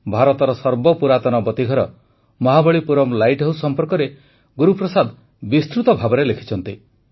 ଭାରତର ସର୍ବପୁରାତନ ବତୀଘର ମହାବଳୀପୁରମ୍ ଲାଇଟ୍ ହାଉସ୍ ସମ୍ପର୍କରେ ଗୁରୁ ପ୍ରସାଦ ବିସ୍ତୃତ ଭାବେ ଲେଖିଛନ୍ତି